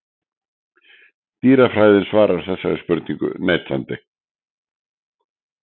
Dýrafræðin svarar þessari spurningu neitandi.